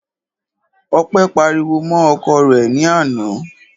Ọpẹ́ pariwo mọ́ ọkọ rẹ̀ ní àná.